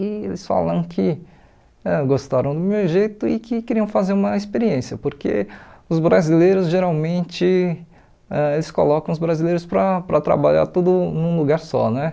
E eles falaram que eh gostaram do meu jeito e que queriam fazer uma experiência, porque os brasileiros geralmente, ãh eles colocam os brasileiros para para trabalhar tudo num lugar só, né?